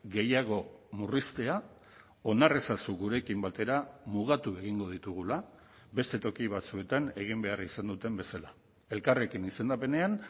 gehiago murriztea onar ezazu gurekin batera mugatu egingo ditugula beste toki batzuetan egin behar izan duten bezala elkarrekin izendapenean